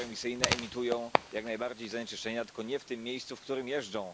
zeroemisyjne emitują jak najbardziej zanieczyszczenia, tylko nie w tym miejscu, w którym jeżdżą.